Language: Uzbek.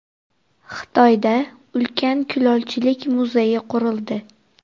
Xitoyda ulkan kulolchilik muzeyi qurildi .